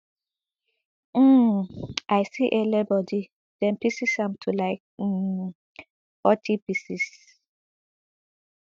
um i see ele body dem pieces am to like um forty pieces